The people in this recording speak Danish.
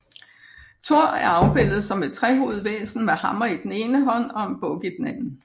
Tor er afbildet som et trehovedet væsen med hammer i den ene hånd og en buk i den anden